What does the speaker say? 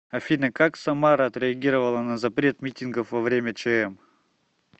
афина как самара отреагировала на запрет митингов во время чм